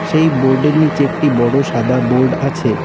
সেই বোর্ড -এর নীচে একটি বড়ো সাদা বোর্ড আছে।